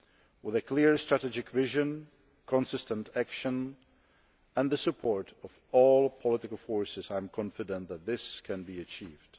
With a clear strategic vision, consistent action and the support of all political forces, I am confident that this can be achieved.